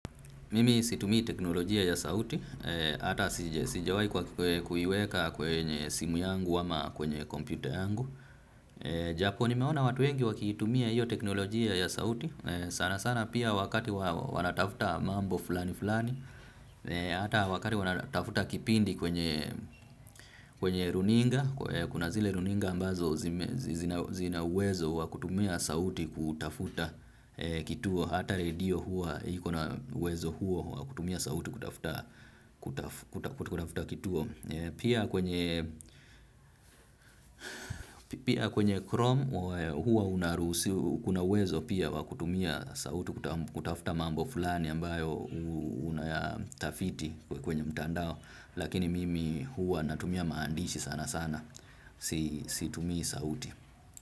Mimi situmii teknolojia ya sauti, ata sijawai kwa kuiweka kwenye simu yangu ama kwenye kompyuta yangu. Japo nimeona watu wengi wakiitumia hiyo teknolojia ya sauti, sana sana pia wakati wanatafuta mambo fulani fulani, ata wakati wanatafuta kipindi kwenye runinga, kuna zile runinga ambazo zina uwezo wakutumia sauti kutafuta kituo, hata radio huwa iko na uwezo huo wakutumia sauti kutafuta kituo. Pia kwenye chrome hua unarusiu kuna uwezo pia wakutumia sauti kutafuta mambo fulani ambayo unayatafiti kwenye mtandao. Lakini mimi hua natumia maandishi sana sana situmii sauti.